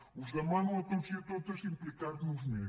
us demano a tots i a totes implicar nos més